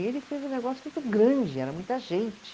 E ele fez um negócio muito grande, era muita gente.